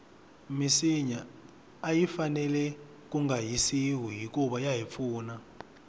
minsinya ayi fanele kunga hisiwi hikuva yahi pfuna